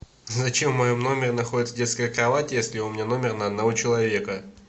зачем в моем номере находится детская кровать если у меня номер на одного человека